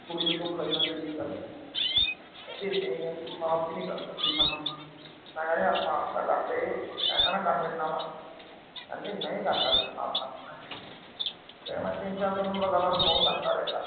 ਕੁੜੀ ਨੂੰ ਧੋਖਾ ਦੇਣਾ ਕਿਡੀ ਗੱਲ ਏ। ਕਹਿੰਦੀ ਨਹੀਂ, ਮੈਂ ਮਾਫ ਈ ਨਹੀਂ ਕਰ ਸਕਦੀ ਥੋਨੂੰ। ਮੈਂ ਕਿਹਾ ਯਾਰ ਮਾਫ ਤਾਂ ਕਰ ਦੇ। ਆਏ ਤਾਂ ਨਾ ਕਰ ਮੇਰੇ ਨਾਲ। ਕਹਿੰਦੀ ਨਹੀਂ ਕਰ ਸਕਦੀ ਮਾਫ਼ ਥੋਨੂੰ ਮੈਂ ਫਿਰ ਮੈਂ ਤਿੰਨ-ਚਾਰ ਦਿਨ ਲਗਾਤਾਰ ਉਹਨੂੰ phone ਕਰਦਾ ਰਿਹਾ।